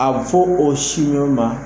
A bɛ fɔ o sin ninnu ma